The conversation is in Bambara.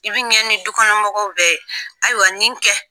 I bɛ ɲɛ ni dukɔnɔ mɔgɔw bɛɛ ye! Ayiwa, nin kɛ.